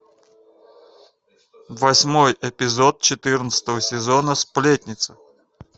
восьмой эпизод четырнадцатого сезона сплетница